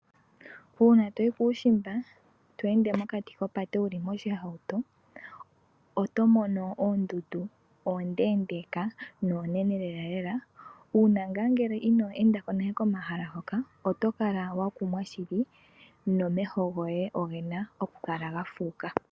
Uuna toyi kuushimba tweende mokati kopate wuli moshihauto, otomono oondundu oondeendeka noonene lelalela uuna ngaa ngele ino endako nale komahala hoka. Otokala wakumwa shili nomeho goye ogena okuka la gafuuka.